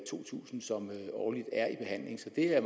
to tusind som er i behandling så det er